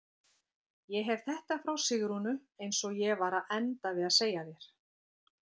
Ég hef þetta frá Sigrúnu eins og ég var að enda við að segja þér.